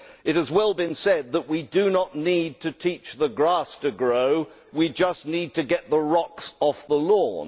It has well been said that we do not need to teach the grass to grow, we just need to get the rocks off the lawn.